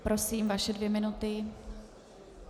Prosím, vaše dvě minuty.